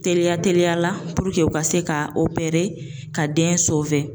Teliya teliyala puruke u ka se ka opere ka den sowe